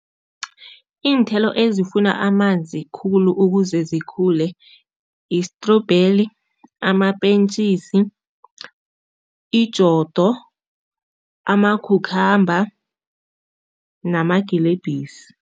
Iinthelo ezifuna amanzi khulu ukuze zikhule, istrubheli, amapentjisi, ijodo, amakhukhamba namagilebhisi.